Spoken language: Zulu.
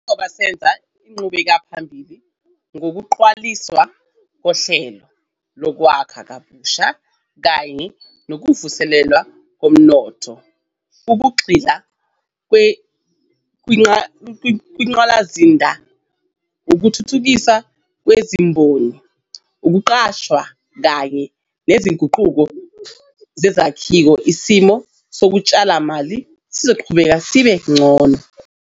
Njengoba senza inqubekelaphambili ngokuqaliswa koHlelo Lokwakha Kabusha kanye Nokuvuselelwa Komnotho ngokugxila kwingqalasizinda, ukuthuthukiswa kwezimboni, ukuqashwa kanye nezinguquko zezakhiwo isimo sotshalomali sizoqhubeka sibe ngcono.